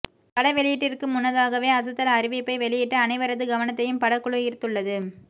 பட வெளியீட்டிற்கு முன்னதாகவே அசத்தல் அறிவிப்பை வெளியிட்டு அனைவரது கவனத்தையும் படக்குழு ஈர்த்துள்ளது